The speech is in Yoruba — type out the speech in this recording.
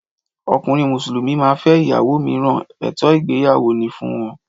Ọkùnrin Musulumi máa fẹ ìyàwó míràn, ètò ìgbéyàwó ni fún wọn